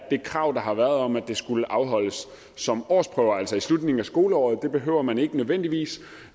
det krav der har været om at de skulle afholdes som årsprøver altså i slutningen af skoleåret for det behøver man ikke nødvendigvis